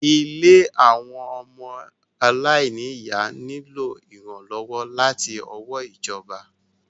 Ilé àwọn ọmọ àláìnì ìyá nílò ìrànlọ́wọ́ láti ọwọ́ ìjọba.